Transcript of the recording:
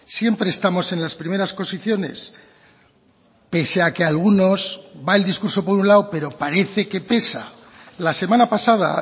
siempre estamos en las primeras posiciones pese a que algunos va el discurso por un lado pero parece que pesa la semana pasada